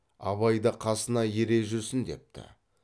абайды қасына ере жүрсін депті